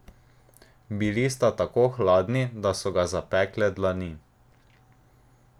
Bili sta tako hladni, da so ga zapekle dlani.